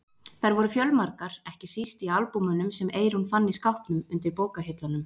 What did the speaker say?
Þær voru fjölmargar, ekki síst í albúmunum sem Eyrún fann í skápnum undir bókahillunum.